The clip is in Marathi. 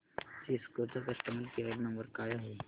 सिस्को चा कस्टमर केअर नंबर काय आहे